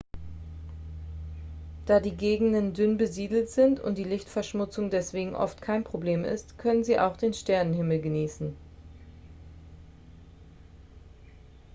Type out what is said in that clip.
da die gegenden dünn besiedelt sind und die lichtverschmutzung deswegen oft kein problem ist können sie auch den sternenhimmel genießen